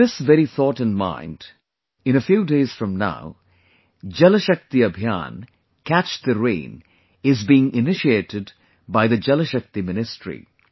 With this very thought in mind, in a few days from now, Jal Shakti Abhiyan CATCH THE RAIN is being initiated by the Jal Shakti Ministry